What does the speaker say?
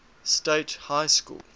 state high school